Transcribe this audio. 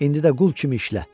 İndi də qul kimi işlə.